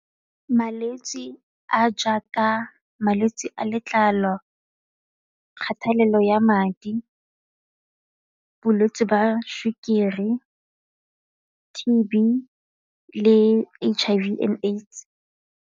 Malwetse a a jaaka malwetse a letlalo, kgathelelo ya madi, bolwetse jwa sukiri, T_B le H_I_V and AIDS.